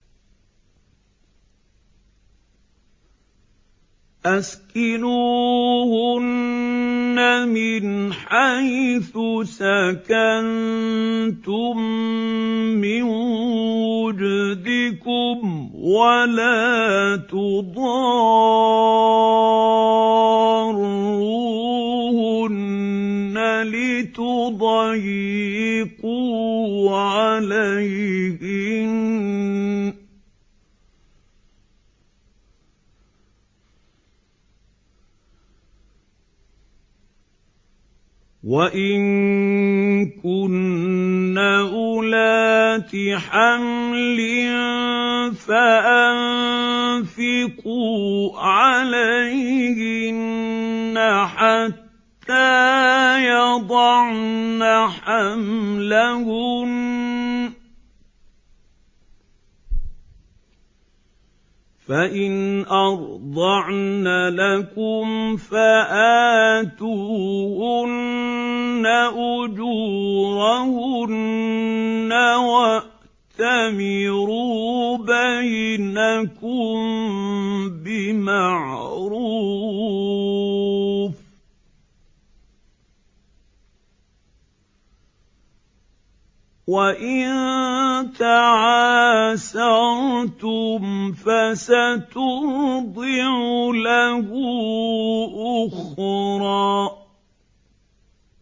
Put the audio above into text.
أَسْكِنُوهُنَّ مِنْ حَيْثُ سَكَنتُم مِّن وُجْدِكُمْ وَلَا تُضَارُّوهُنَّ لِتُضَيِّقُوا عَلَيْهِنَّ ۚ وَإِن كُنَّ أُولَاتِ حَمْلٍ فَأَنفِقُوا عَلَيْهِنَّ حَتَّىٰ يَضَعْنَ حَمْلَهُنَّ ۚ فَإِنْ أَرْضَعْنَ لَكُمْ فَآتُوهُنَّ أُجُورَهُنَّ ۖ وَأْتَمِرُوا بَيْنَكُم بِمَعْرُوفٍ ۖ وَإِن تَعَاسَرْتُمْ فَسَتُرْضِعُ لَهُ أُخْرَىٰ